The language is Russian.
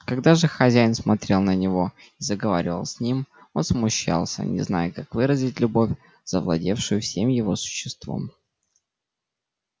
когда же хозяин смотрел на него и заговаривал с ним он смущался не зная как выразить любовь завладевшую всем его существом